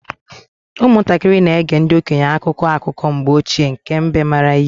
Ụmụntakịrị na-ege ndị okenye akụkọ akụkọ mgbe ochie nke mbe maara ihe.